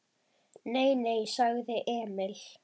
Nei, nei, sagði Emil.